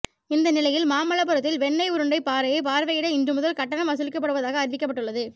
இந்த நிலையில் மாமல்லபுரத்தில் வெண்ணெய் உருண்டை பாறையை பார்வையிட இன்றுமுதல் கட்டணம் வசூலிக்கப்படுவதாக அறிவிக்கப்பட்டுள்ளது